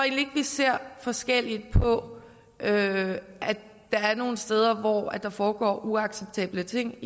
vi ser forskelligt på at der er nogle steder samfund hvor der foregår uacceptable ting